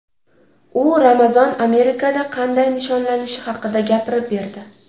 U Ramazon Amerikada qanday nishonlanishi haqida gapirib berdi.